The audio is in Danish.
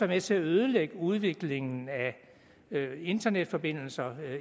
med til at ødelægge udviklingen af internetforbindelser